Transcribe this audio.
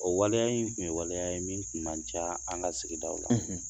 O waleya in tun ye waleya ye min tun man ca an ka sigida aw la